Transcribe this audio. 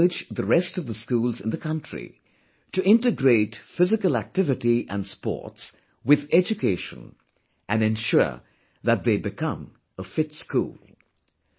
I urge the rest of the schools in the country to integrate physical activity and sports with education and ensure that they become a 'fit school'